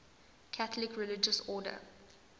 catholic religious order